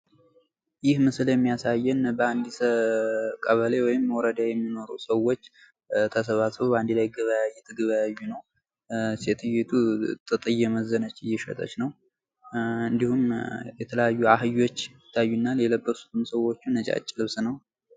ይህ ምስል የሚያሳየን በአንዲት ቀበሌ ወይም ወረዳ የሚኖሩ ሰዎች ተሰባስበው በአንድ ላይ ገበያ እየተገበያዩ ነው። ሴትዮይቱ ጥጥ እየመዘነች እየሸጠች ነው። እንዲሁም የተለያዩ አህዮች ይታዩናል የለበሱትም ሰዎቹ ነጫጭ ልብስ ነው።